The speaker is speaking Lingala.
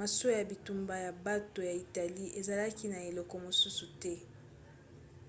masuwa ya bitumba ya bato ya italie ezalaki na eloko mosusu te